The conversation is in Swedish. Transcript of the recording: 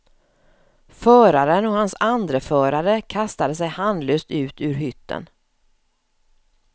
Föraren och hans andreförare kastade sig handlöst ut ur hytten.